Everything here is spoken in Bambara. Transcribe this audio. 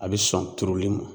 A bɛ sɔn turuli ma.